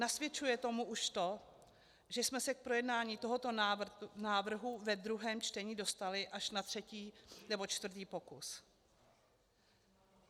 Nasvědčuje tomu už to, že jsme se k projednání tohoto návrhu ve druhém čtení dostali až na třetí nebo čtvrtý pokus.